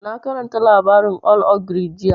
Na karanta labarin old ogre jiya